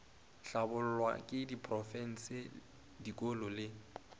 hlabollwa ke diprofense dikolo le